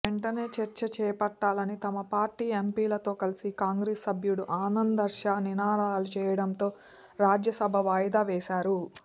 వెంటనే చర్చ చేపట్టాలని తమ పార్టీ ఎంపీలతో కలిసి కాంగ్రెస్ సభ్యుడు ఆనంద్శర్మ నినాదాలు చేయడంతో రాజ్యసభ వాయిదా వేశారు